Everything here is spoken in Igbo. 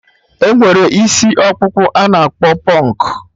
Enwere isi ọkpụkpụ a na-akpọ pụnk